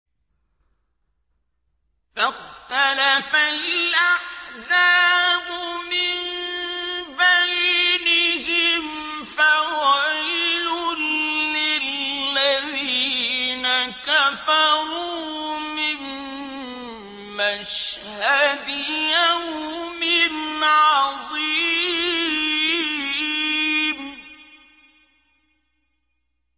فَاخْتَلَفَ الْأَحْزَابُ مِن بَيْنِهِمْ ۖ فَوَيْلٌ لِّلَّذِينَ كَفَرُوا مِن مَّشْهَدِ يَوْمٍ عَظِيمٍ